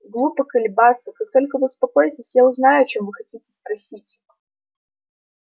глупо колебаться как только вы успокоитесь я узнаю о чём вы хотите спросить